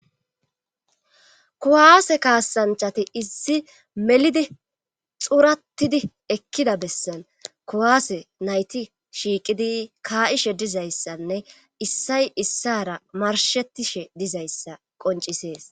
kuwaase kaasanchati isi melidi xurattidi ekkida bessan kuwaase nayti shiiqidi kaa'ishe dizayssanne issay issara marshettishe dizayssa qoncisees